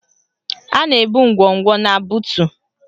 A na-ebu ngwongwo na buutu